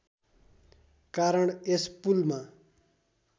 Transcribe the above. कारण यस पुलमा